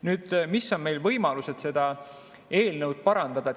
Nüüd, mis on meie võimalused seda eelnõu parandada?